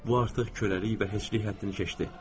Bu artıq köləlik və heçlik həddini keçdi.